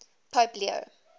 pope leo